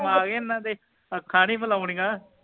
ਹੁਣ ਆਗੇ ਇਹਨਾਂ ਦੇ ਅੱਖਾਂ ਨਹੀਂ ਮਿਲਾਉਣੀਆਂ